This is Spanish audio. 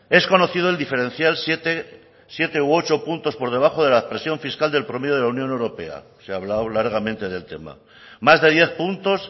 es conocido el diferencial siete u ocho puntos por debajo de la presión fiscal del promedio de la unión europea se ha hablado largamente del tema más de diez puntos